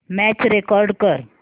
match record कर